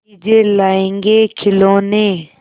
चीजें लाएँगेखिलौने